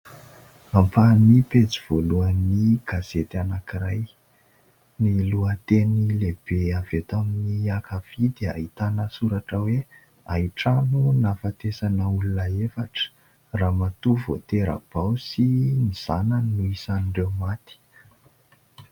Ampahan'ny pejy voalohan'ny gazety anankiray. Ny lohateny lehibe avy eto amin'ny ankavia dia ahitana soratra hoe : Hain-trano nahafatesana olona efatra, ramatoa vao tera-bao sy ny zananny no isan'ireo maty.